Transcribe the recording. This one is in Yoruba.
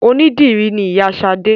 Onídìrí ni Ìyá Sadé